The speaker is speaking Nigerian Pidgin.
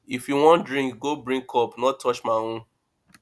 if you wan drink go brink cup no touch my own